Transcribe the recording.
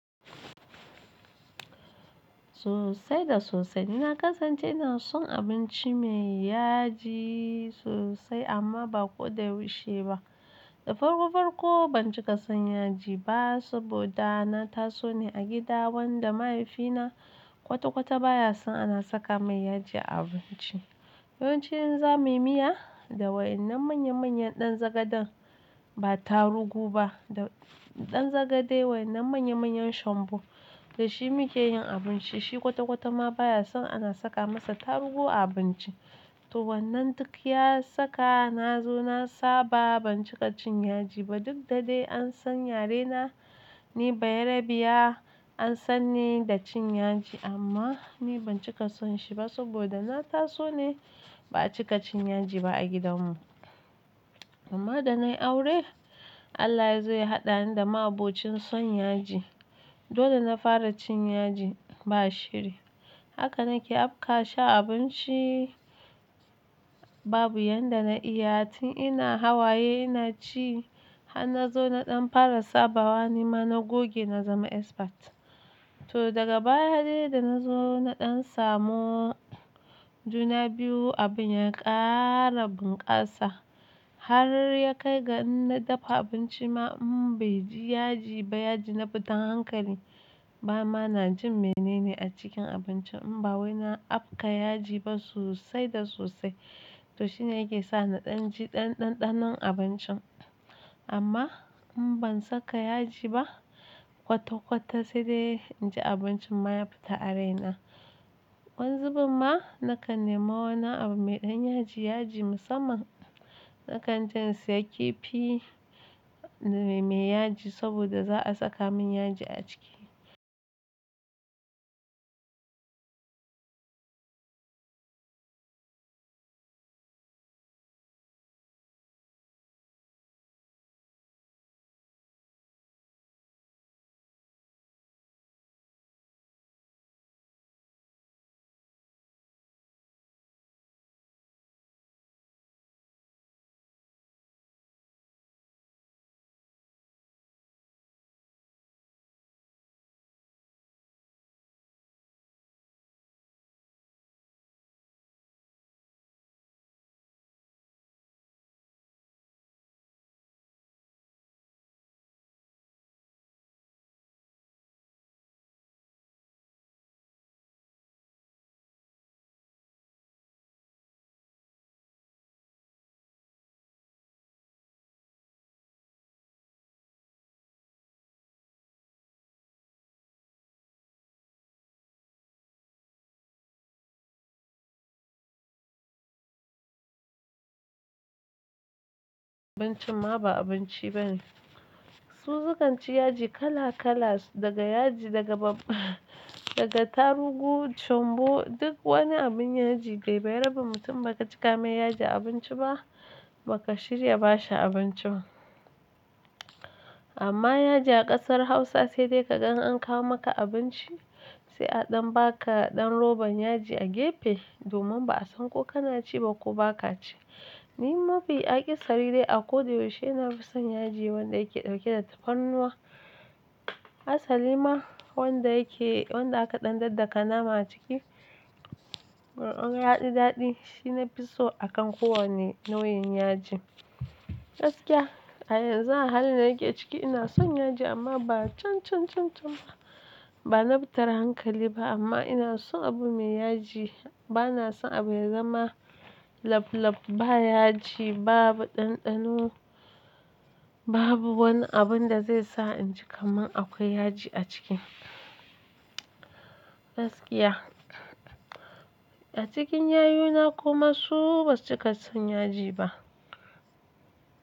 Sosai da sosai. Na kasance ina son abinci mai yaji sosai amma ba ko da yaushe ba. Da farko farko ban cika son yaji ba saboda na taso ne a gida wanda mahaifina kwata kwata baya son ana saka mai yaji a abinci. Yawanci in za muyi miya, da waenan manya manyan ɗan zagaden ba tarugu ba, da ɗan zagade wai nan manya manyan shombo. Da shi muke yin abinci, shi kwata kwata ma baya son ana saka masa tarugu a abinci. To wannan duk ya saka na zo na saba ban cika cin yaji ba. Duk da de an san yare na, ni bayarabiya an san ni da cin yaji amma ni ban cika son shi ba saboda na taso ne ba'a cika cin yaji ba a gidan mu. Amma da nayi aure, Allah ya zo ya hadda ni da abokin san yaji. Dole na fara cin yaji ba shirri. Haka na ke apka shi a abinci babu yadda na iya. Tun ina hawaye ina ci. Har na zo na ɗan fara sabawa nima na goge na zama expert. Toh daga baya de da na zo na dan samu juna biyu abin ya kara bunkasa har ya kai ga in na dafa abinci ma in bai ji yaji ba, yaji na fita hankali. Bama na jin menene a cikin abincin in ba wai na apka yaji ba sosai da sosai. To shine yake sa na ɗan ji ɗanɗanon abincin. Amma in ban saka yaji ba kwata kwata sai dai inji abincin ma ya fita a raina. Wanzubarma na kan nema wannan abu mai ɗan yaji yaji musamman. Na kan je in siya kifi mai yaji saboda za'a saka min yaji a ciki. Abincin ma ba abinci bane. Su sukan ci yaji kalla-kalla daga tarugu, shongbo duk wani abun yaji Gai bayarabin mutum ba ka cika mai yaji a abinci ba, ba ka shirya bashi abinci ba. Amma yaji a ƙasar Hausa sai dai ka gan an kawo maka abinci sai a ɗan baka ɗan roban yaji a gefe. Domin ba'a san ko kana ci ba ko ba ka ci. Ni ma bai ake sirri dai a ko da yaushe ina fi son yaji wanda yake ɗauke da tafarnuwa. Asali ma wanda yake-- wanda aka ɗan daddaka nama a ciki. Mar'an yaji daɗi shi na fi so a kan kowane nau'in yaji. Gaskiya, a yanzu a halin da nake ciki ina son yaji amma ba can, can, can, can ba. Ba na fitar hankali ba amma ina son abu mai yaji. Bana son abu ya zama lap lap ba yaji, babu ɗanɗano, babu wani abun da zai sa inji kaman akwai yaji a ciki. Gaskiya. A cikin yayuna kuma su basu cika son yaji ba.